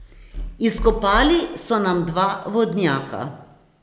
Izkopali so nam dva vodnjaka.